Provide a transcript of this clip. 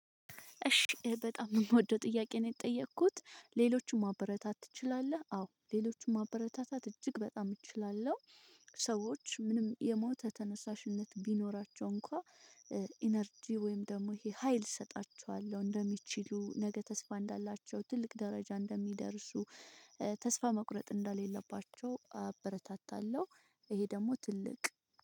እሺ በጣም የምወደው ጥያቄ ነው የጠየኩት ሌሎችም ማበረታታት ትችላለህ? አዎ ሌሎችም ማበረታታት እጅግ በጣም እችላለሁ። ሰዎች ምንም የሞተ ተነሳሽነት ቢኖራቸው እንኳን ኢነርጂ ወይም ደግሞ ይሄ ሀይል እሰጣችኋለሁ እንደሚችሉ ነገ ተስፋ እንዳላቸው ትልቅ ደረጃ እንደሚደርሱ። ተስፋ መቁረጥ እንደሌለባቸው አበረታታለሁ። ይሄ ደግሞ ትልቅ